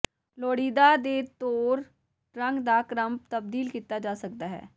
ਲੋੜੀਦਾ ਦੇ ਤੌਰ ਰੰਗ ਦਾ ਕ੍ਰਮ ਤਬਦੀਲ ਕੀਤਾ ਜਾ ਸਕਦਾ ਹੈ